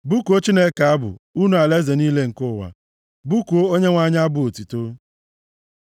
Bụkuo Chineke abụ, unu alaeze niile nke ụwa, bụkuo Onyenwe anyị abụ otuto, Sela